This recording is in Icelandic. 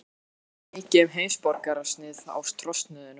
Það var heldur ekki mikið heimsborgarasnið á trosnuðum strigaskónum.